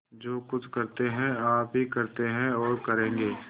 जो कुछ करते हैं आप ही करते हैं और करेंगे